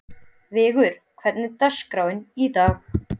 Vigur, hvernig er dagskráin í dag?